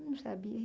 Eu não sabia.